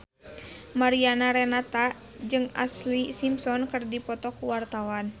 Mariana Renata jeung Ashlee Simpson keur dipoto ku wartawan